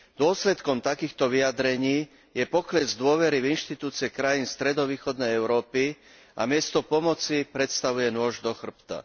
Dôsledkom takýchto vyjadrení je pokles dôvery v inštitúcie krajín stredovýchodnej Európy a miesto pomoci predstavuje nôž do chrbta.